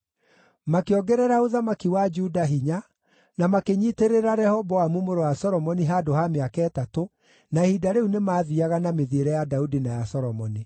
Makĩongerera ũthamaki wa Juda hinya na makĩnyiitĩrĩra Rehoboamu mũrũ wa Solomoni handũ ha mĩaka ĩtatũ, na ihinda rĩu nĩmathiiaga na mĩthiĩre ya Daudi na ya Solomoni.